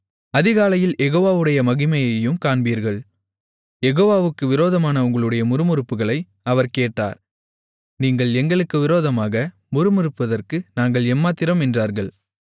அதிகாலையில் யெகோவாடைய மகிமையையும் காண்பீர்கள் யெகோவாவுக்கு விரோதமான உங்களுடைய முறுமுறுப்புகளை அவர் கேட்டார் நீங்கள் எங்களுக்கு விரோதமாக முறுமுறுப்பதற்கு நாங்கள் எம்மாத்திரம் என்றார்கள்